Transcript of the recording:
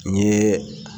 N ye